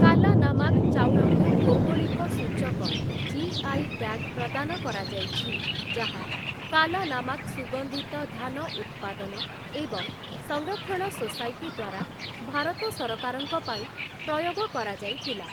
କାଲାନାମାକ୍ ଚାଉଳକୁ ଭୌଗୋଳିକ ସୂଚକ ଜିଆଇ ଟ୍ୟାଗ୍ ପ୍ରଦାନ କରାଯାଇଛି, ଯାହା କାଲାନାମାକ୍ ସୁଗନ୍ଧିତ ଧାନ ଉତ୍ପାଦନ ଏବଂ ସଂରକ୍ଷଣ ସୋସାଇଟି ଦ୍ୱାରା ଭାରତ ସରକାରଙ୍କ ପାଇଁ ପ୍ରୟୋଗ କରାଯାଇଥିଲା ।